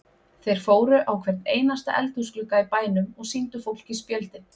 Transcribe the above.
Þeir fóru á hvern einasta eldhúsglugga í bænum og sýndu fólki spjöldin.